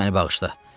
Sən məni bağışla.